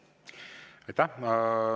Aitäh!